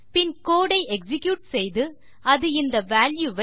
பின் code ஐ execute செய்து அது இந்த வால்யூ வை